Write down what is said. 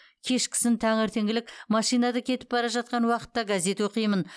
кешкісін таңертеңгілік машинада кетіп бара жатқан уақытта газет оқимын